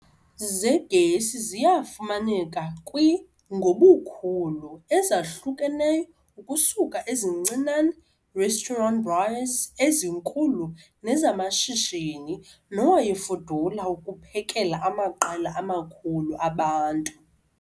Zegesi ziyafumaneka kwi ngobukhulu ezahlukeneyo ukusuka ezincinane restaurant braaiers ezinkulu nezamashishini nowayefudula ukuphekela amaqela amakhulu abantu.